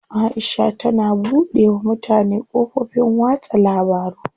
Aisha tana buɗe wa mutane kafofin watsa labaru.